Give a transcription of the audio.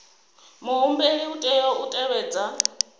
muhumbeli u tea u tevhedza